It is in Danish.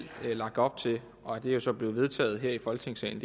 lagt op til og det er så blevet vedtaget her i folketingssalen